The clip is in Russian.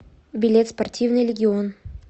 билет спортивный легион